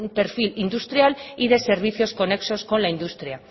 perfil industrial y de servicios conexos con la industria